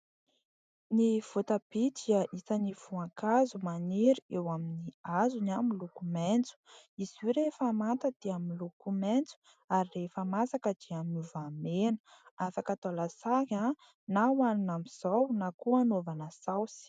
Ny voatabia dia isan'ny voankazo maniry eo amin'ny hazony miloko maitso. Izy io rehefa manta dia miloko maitso ary rehefa masaka dia miova mena. Afaka atao lasary na hohanina amin'izao na koa anaovana saosy.